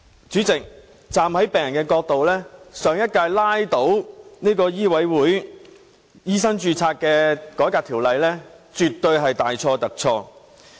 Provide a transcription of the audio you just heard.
主席，從病人的角度，上屆拉倒《2016年醫生註冊條例草案》絕對是大錯特錯。